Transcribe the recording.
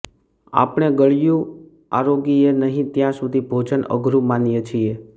આપણે ગળ્યું આરોગીએ નહીં ત્યાં સુધી ભોજન અધુરું માનીએ છીએ